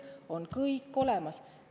Siin on kõik olemas.